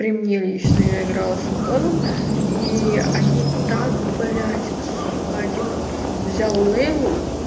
при мне лично я играла с антоном и они так блядь сука один взял лейлу